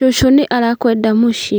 Cũcũ nĩ arakũenda Mũciĩ